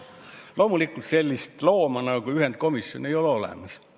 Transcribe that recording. Loomulikult sellist looma nagu ühendkomisjon ei ole olemas.